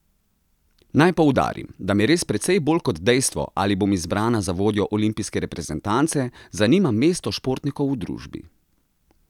Naj poudarim, da me res precej bolj kot dejstvo, ali bom izbrana za vodjo olimpijske reprezentance, zanima mesto športnikov v družbi.